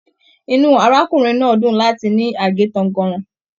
Inú arákùnrin náà dún láti ní age tànganran.